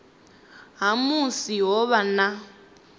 ha musi ho vha na